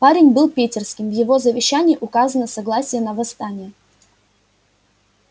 парень был питерским в его завещании указано согласие на восстание